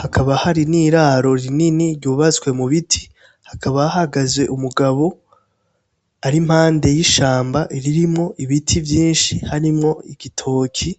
hakaba hari n'iraro rinini ryubatswe mu biti hakaba hahagaze umugabo ari impande y'ishamba ririmwo ibiti vyinshi harimwo igitoki.